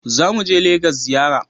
Za mu je Legas ziyara